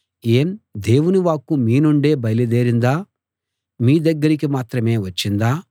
ఏం దేవుని వాక్కు మీ నుండే బయలుదేరిందా మీ దగ్గరికి మాత్రమే వచ్చిందా